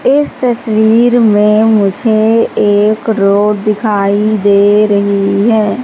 इस तस्वीर में मुझे एक रोड दिखाई दे रही हैं।